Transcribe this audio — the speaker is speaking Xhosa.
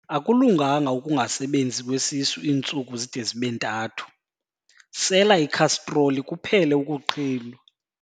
Akulunganga ukungasebenzi kwesisu iintsuku zide zibe ntathu, sela ikhastroli kuphele ukuqhinwa.